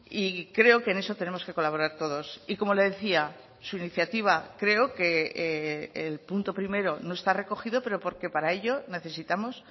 y creo que en eso tenemos que colaborar todos y como le decía su iniciativa creo que el punto primero no está recogido pero porque para ello necesitamos